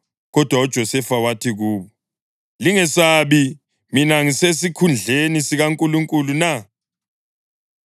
Kodwa uJosefa wathi kubo, “Lingesabi. Mina ngisesikhundleni sikaNkulunkulu na?